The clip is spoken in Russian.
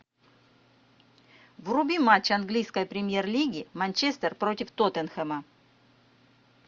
вруби матч английской премьер лиги манчестер против тоттенхэма